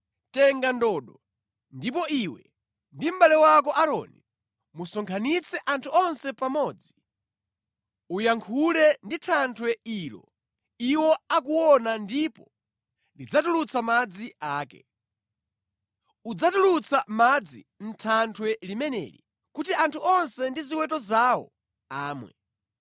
“Tenga ndodo, ndipo iwe ndi mʼbale wako Aaroni musonkhanitse anthu onse pamodzi. Uyankhule ndi thanthwe ilo iwo akuona ndipo lidzatulutsa madzi ake. Udzatulutsa madzi mʼthanthwe limeneli kuti anthu onse ndi ziweto zawo amwe.”